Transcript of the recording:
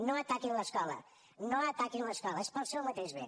no ataquin l’escola no ataquin l’escola és pel seu mateix bé